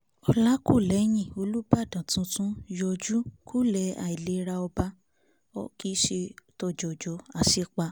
ọlákùlẹ̀hìn olùbàdàn tuntun yọjú kulẹ̀ àìlera ọba[um] kì í ṣe tòjòjò aṣípá